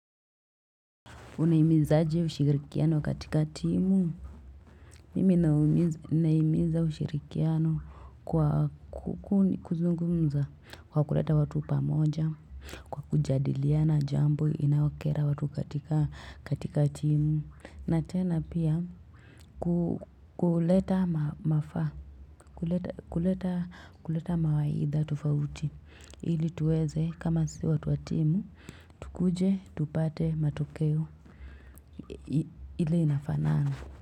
Unahimizaje ushirikiano katika timu. Mimi nahimiza ushirikiano kwa kuzungumza kwa kuleta watu pamoja, kwa kujadiliana jambo inayokera watu katika timu. Natena pia kuleta mafa, kuleta mawaidha tufauti. Hili tuweze kama sisi watu watimu, tukuje, tupate matokeo. Ile inafanana.